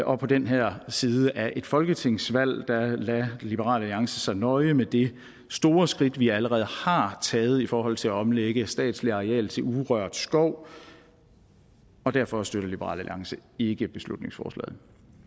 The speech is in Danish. og på den her side af et folketingsvalg lader liberal alliance sig nøje med det store skridt vi allerede har taget i forhold til at omlægge statsligt areal til urørt skov og derfor støtter liberal alliance ikke beslutningsforslaget